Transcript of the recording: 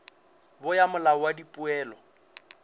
bo ya molao wa dipoelo